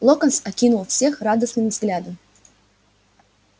локонс окинул всех радостным взглядом